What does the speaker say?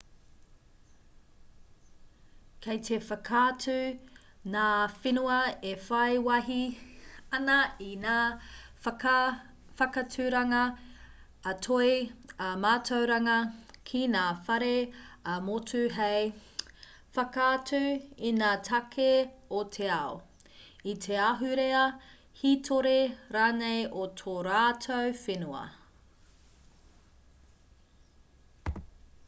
kei te whakaatu ngā whenua e whai wāhi ana i ngā whakaaturanga ā-toi ā-mātauranga ki ngā whare ā-motu hei whakaatu i ngā take o te ao i te ahurea hītori rānei o tō rātou whenua